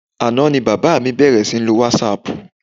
Àná ni bàbá mi bẹ̀rẹ̀ sí ní lo wásaàpù.